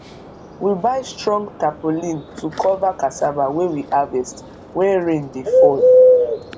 we buy strong tarpaulin to cover cassava wey we harvest when rain dey fall